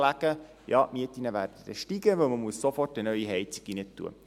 «Ja, die Mieten werden dann steigen, weil man sofort eine neue Heizung hineintun muss.